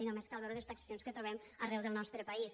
i només cal veure les taxacions que trobem arreu del nostre país